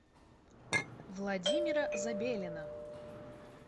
владимира забелина